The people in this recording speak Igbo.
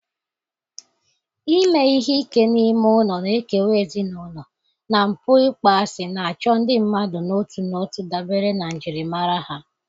ime ihe ike n'ime ụlọ na-ekewa ezinụlọ, na mpụ ịkpọasị na-achọ ndị mmadụ n'otu n'otu dabere na njirimara ha.